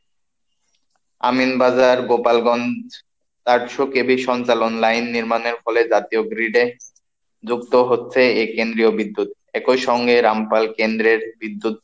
আমিনবাজার, গোপালগঞ্জ, আটশো কেবি সঞ্চালন লাইন নির্মাণের ফলে জাতীয় গ্রিডে, যুক্ত হচ্ছে এই কেন্দ্রীয় বিদ্যুৎ, একই সঙ্গে রামপাল কেন্দ্রের বিদ্যুৎ,